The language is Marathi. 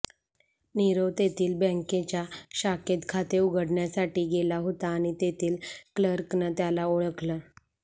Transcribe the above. नीरव तेथील बँकेच्या शाखेत खाते उघडण्यासाठी गेला होता आणि तेथील क्लर्कनं त्याला ओळखलं